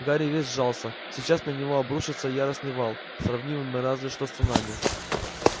гарри весь сжался сейчас на него обрушится яростный вал сравнимый разве что с цунами